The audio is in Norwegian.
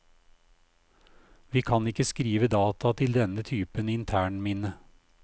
Vi kan ikke skrive data til denne typen internminne.